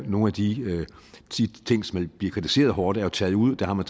nogle af de ting som bliver kritiseret hårdt taget ud der har man